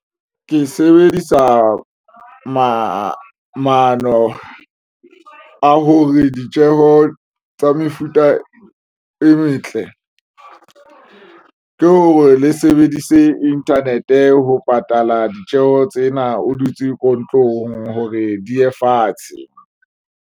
Ke sebedisa maano a hore ditjeho tsa mefuta e metle ke hore le sebedise internet ho patala ditjeho tsena o dutse ko ntlong hore di ye fatshe.